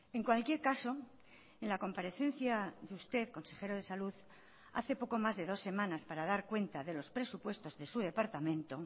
en cualquier caso en la comparecencia de usted consejero de salud hace poco más de dos semanas para dar cuenta de los presupuestos de su departamento